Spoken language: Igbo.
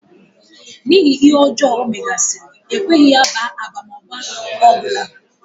N'ihi ihe ọjọọ ọ megasị́rị, e kweghị ya baa abamaba ọ bụla.